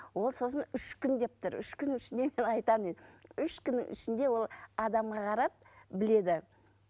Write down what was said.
ол сосын үш күн деп тұр үш күннің ішінде айтамын дейді үш күннің ішінде ол адамға қарап біледі